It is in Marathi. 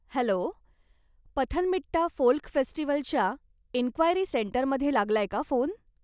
हॅलो, पथनमथिट्टा फोल्क फेस्टिवलच्या इन्क्वायरी सेंटरमध्ये लागलाय का फोन?